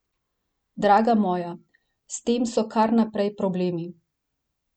Draga moja, s tem so kar naprej problemi.